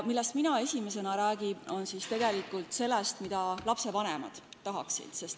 Esiteks räägin ma sellest, mida lastevanemad tahaksid.